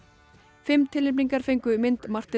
fimm tilnefningar fengu mynd Martins